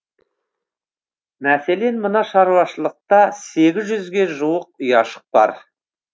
мәселен мына шаруашылықта сегіз жүзге жуық ұяшық бар